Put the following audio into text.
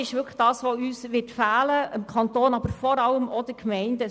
Diese werden sowohl dem Kanton als insbesondere auch den Gemeinden fehlen.